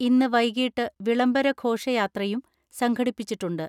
ഇന്ന് വൈകിട്ട് വിളംബര ഘോഷയാത്രയും സംഘടിപ്പിച്ചിട്ടുണ്ട്.